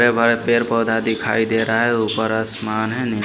पेर पौधा दिखाई दे रहा है ऊपर आसमान है।